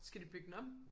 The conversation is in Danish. Skal de bygge den om